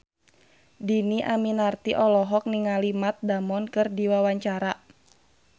Dhini Aminarti olohok ningali Matt Damon keur diwawancara